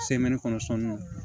kɔnɔ sɔnni